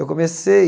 Eu comecei...